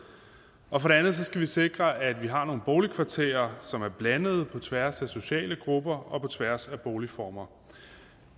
og for det andet skal vi sikre at vi har nogle boligkvarterer som er blandede på tværs af sociale grupper og på tværs af boligformer